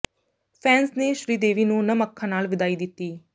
fans ਨੇ ਸ੍ਰੀਦੇਵੀ ਨੂੰ ਨਮ ਅੱਖਾਂ ਨਾਲ ਵਿਦਾਈ ਦਿੱਤੀ